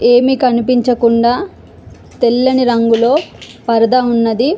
ఏమి కనిపించకుండా తెల్లని రంగులో పరదా ఉన్నది --